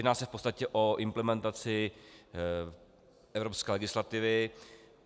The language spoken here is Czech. Jedná se v podstatě o implementaci evropské legislativy.